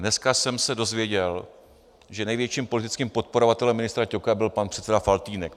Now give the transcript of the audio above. Dneska jsem se dozvěděl, že největším politickým podporovatelem ministra Ťoka byl pan předseda Faltýnek.